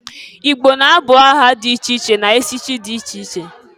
I gbo na-abụ aha dị iche iche na-echichi dị iche iche.